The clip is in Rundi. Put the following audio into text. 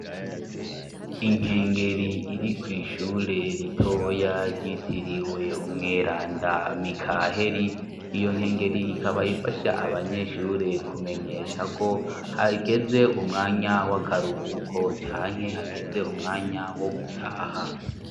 Inkengeri iri kw'ishure ritoya ryitiriwe umweranda mikaheri iyo nkengeri ikaba ifasha abanyeshure kumenyesha ko hageze umwanya w'akaruhuko canke hageze umwanya wo gutaha.